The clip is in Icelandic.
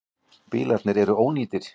Bílarnir eru ónýtir.